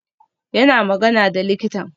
Yana magana da likitan